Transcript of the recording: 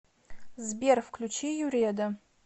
сбер включи юреда